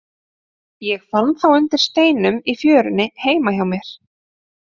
Ég fann þá undir steinum í fjörunni heima hjá mér.